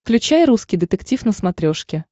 включай русский детектив на смотрешке